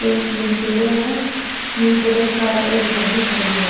ए तीन पेड़िया है तीन पेड़िया के सहारे एक गाड़ी खड़ी है।